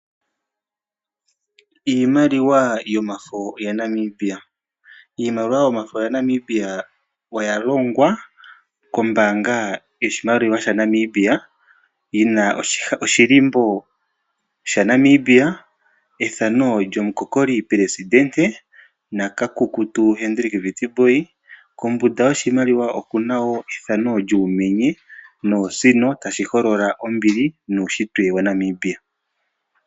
Iimaliwa yomafo yaNamibia. Iimaliwa yomafo oya longwa kombaanga yoshimaliwa shaNamibia, yi na oshilimbo shaNamibia, ethano lyomukokoli pelesidente, na kakukutu Hendrik Witbooi, kombunda yoshimaliwa oku na wo ethano lyuumenye noosino, tashi holola ombili nuushitwe waNamibia.